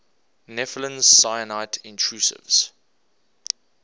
nepheline syenite intrusives